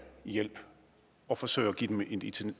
i hjælp og forsøger at give dem et